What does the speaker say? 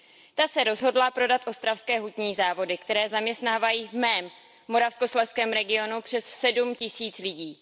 Ta se rozhodla prodat Ostravské hutní závody, které zaměstnávají v mém Moravskoslezském regionu přes sedm tisíc lidí.